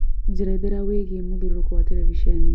njerethera wĩigie mũthiũrũrũko wa terebĩcenĩ